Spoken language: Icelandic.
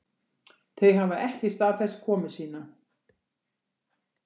Þau hafa ekki staðfest komu sína